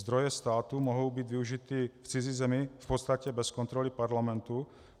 Zdroje státu mohou být využity v cizí zemi v podstatě bez kontroly parlamentu.